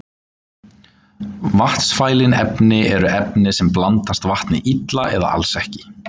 Vatnsfælin efni eru efni sem blandast vatni illa eða alls ekki.